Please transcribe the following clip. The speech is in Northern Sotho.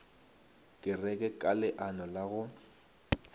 kereke ka leano la go